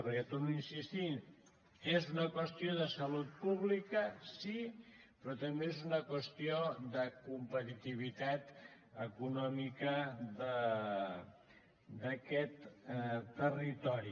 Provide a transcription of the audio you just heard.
perquè torno a insistir hi és una qüestió de salut pública sí però també és una qüestió de competitivitat econòmica d’aquest territori